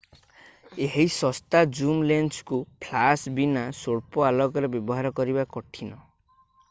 ଏହି ଶସ୍ତା ଜୁମ ଲେନ୍ସକୁ ଫ୍ଲାଶ ବୀନା ସ୍ୱଳ୍ପ ଆଲୋକରେ ବ୍ୟବହାର କରିବା କଠିନ